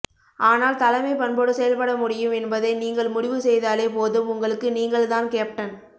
ஆனால் தலைமைப்பண்போடு செயல்பட முடியும் என்பதை நீங்கள் முடிவு செய்தாலே போதும் உங்களுக்கு நீங்கள் தான் கேப்டன்